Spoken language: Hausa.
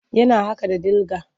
Yana haƙa da dIga.